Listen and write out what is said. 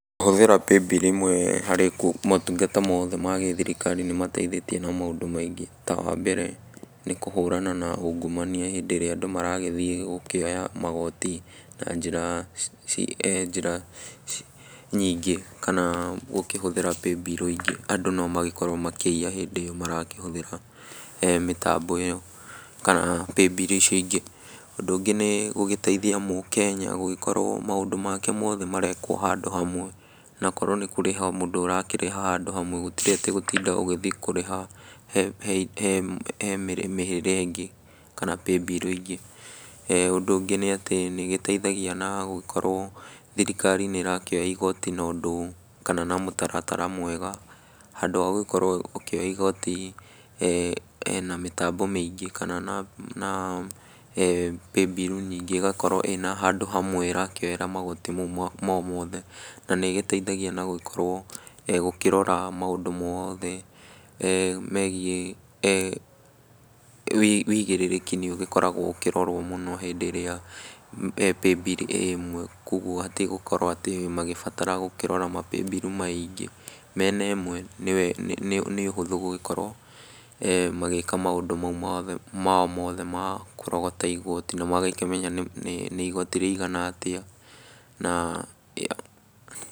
Kũhũthĩra Paybill ĩmwe harĩ motungata mothe ma gĩthirikari nĩ mateithĩtie na maũndũ maingĩ, ta wa mbere kũhũrana na ungumania hĩndĩ ĩrĩa andũ maragĩthiĩ gũkĩoya magoti na njĩra ci nyingĩ, kana gũkĩhũthĩra paybill ingĩ, andũ no magĩkorwo makĩinya hĩndĩ ĩyo marakĩhũthĩra mĩtambo ĩyo kana paybill icio ingĩ . Ũndũ ũngĩ nĩ gũgĩteithia mũkenya gũgĩkorwo maũndũ make mothe marekwo handũ hamwe , na korwo nĩ kũrĩha mũndũ arakĩrĩha handũ hamwe gũtirĩ atĩ gũtinda gũthiĩ kũrĩha he he mĩrĩhĩre ĩngĩ kana paybill ingĩ,e ũndũ ũngĩ nĩ atĩ nĩ ĩgĩteithagia na gũgĩkorwo thirikari nĩ ĩrakĩoyaga igoti na ũndũ ,kana na mũtaratara mwega, handũ gũkorwo ĩkĩoya igoti na mĩtambo mĩingĩ, kana na paybill nyingĩ ,ĩgakorwo ĩna handũ hamwe ĩrakĩoera magoti mau mothe , na nĩ ĩgĩteithagia na gũgĩkorwo gũkĩrora maũndũ mothe megiĩ wigĩrĩrĩki nĩ ũgĩkoragwo ũkĩrorwo mũno hĩndĩ ĩrĩa paybill ĩ ĩmwe. Koguo hatirĩ gũkorwo atĩ magĩbatara kũrora mapaybill maingĩ, mena ĩmwe nĩ ũhũthũ gũgĩkorwo magĩka maũndũ mau mothe ma kũrogota igoti , na magakĩmenya nĩ igoti rĩigana atĩa na.